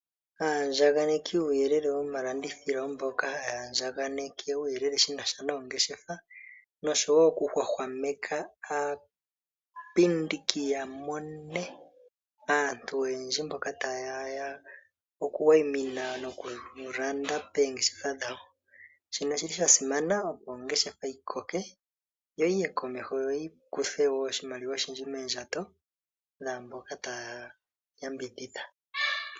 Aayagandjaneki yuuyelele womalandithilo mboka haya andjaganeke uuyelele shi na sha noongeshefa nosho wo okuhwahwameka aapindiki ya mone aantu oyendji mboka taye ya okuwayimina nokulanda poongeshefa dhawo. Shika osha simana opo ongeshefa yi koke yo yiye komeho yi kuthe wo oshimaliwa oshindji moondjato dhaamboka taya yambidhidha.